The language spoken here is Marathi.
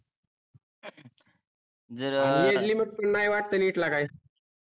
आणि एडली नोट पान नाही वाटते इथला काय